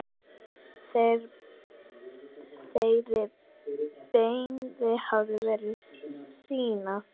Þeirri beiðni hefur verið synjað.